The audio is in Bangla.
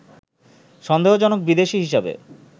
সন্দেহজনক বিদেশী হিসাবে